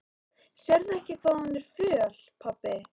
Sérðu ekki hvað hún er föl, pabbi?